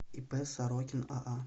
ип сорокин аа